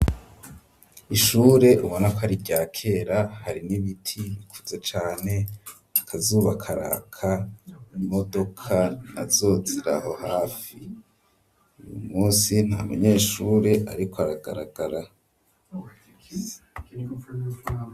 Ishure ubona ko ari irya kera, hari n'ibiti bikuze cane, akazuba karaka, imodoka nazo ziri aho hafi, uyu munsi nta munyeshure ariko aragaragara.